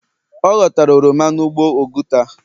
ọ Ọ ghọtara oroma n'ugbo oguta.